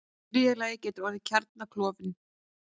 Í þriðja lagi getur orðið kjarnaklofnun.